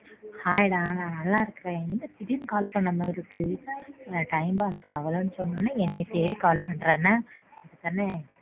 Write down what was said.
Hi டா நான் நல்லா இருக்கேன் என்ன திடீர்னு call பண்ண மாறி இருக்கு. Time pass ஆகல சொன்னனே என்னை தேடி call பண்ற என்ன அதானே?